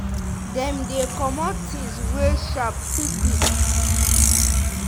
dem dey comot things wey sharp quick quick.